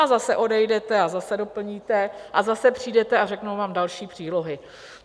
A zase odejdete a zase doplníte a zase přijdete a řeknou vám další přílohy.